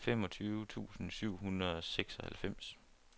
femogtyve tusind syv hundrede og seksoghalvfems